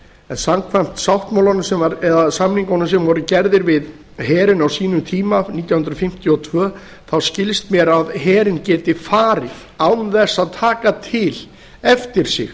en samkvæmt samningunum sem voru gerðir við herinn á sínum tíma nítján hundruð fimmtíu og tvö skilst mér að herinn geti farið án þess að taka til eftir sig